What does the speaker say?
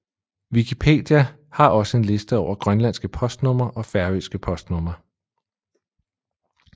Wikipedia har også en liste over grønlandske postnumre og færøske postnumre